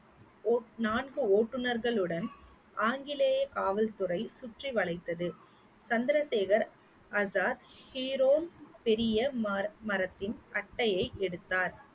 vote~ நான்கு ஓட்டுநர்களுடன் ஆங்கிலேய காவல்துறை சுற்றி வளைத்தது சந்திரசேகர் ஆசாத் ஹீரோன் பெரிய மார்~ மரத்தின் அட்டையை எடுத்தார்